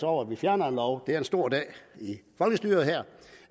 over at vi fjerner en lov det er en stor dag i folkestyret her